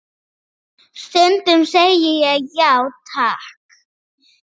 Skoðun afa skipti máli.